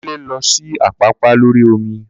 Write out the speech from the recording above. Kunle lọ sí Àpápá lórí omi